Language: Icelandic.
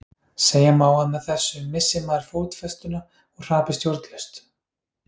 segja má að með þessu missi maður fótfestuna og hrapi stjórnlaust